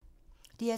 DR2